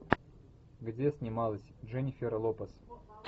где снималась дженифер лопес